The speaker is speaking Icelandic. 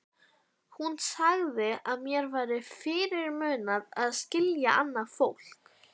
Hún sagði að mér væri fyrirmunað að skilja annað fólk.